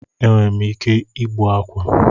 Enwerem ike igbu akwa